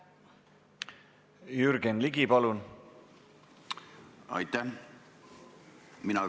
Jürgen Ligi, palun!